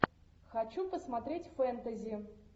хочу посмотреть фэнтези